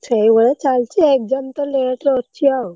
ସେଇଭଳିଆ ଚାଲିଛି exam ତ late ରେ ଅଛି ଆଉ।